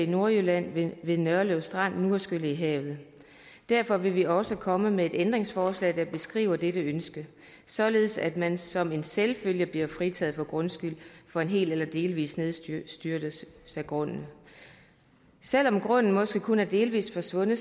nordjylland ved nørlev strand er skyllet i havet og derfor vil vi også komme med et ændringsforslag der beskriver dette ønske således at man som en selvfølge bliver fritaget for grundskyld for en hel eller delvis nedstyrtning af grunden selv om grunden måske kun er delvis forsvundet